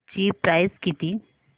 ची प्राइस किती